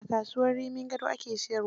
A kasuwar Rimin Gado ake siyarwa.